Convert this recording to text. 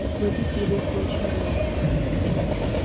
но платить придётся очень много